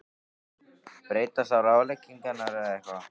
Breytast þá ráðleggingarnar eitthvað?